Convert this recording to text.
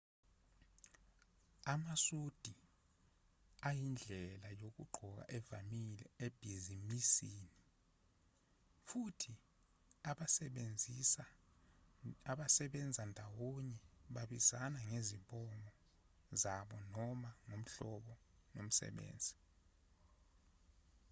amasudi ayindlela yokugqoka evamile ebhizinisini futhi abasebenza ndawonye babizana ngezibongo zabo noma ngohlobo lomsebenzi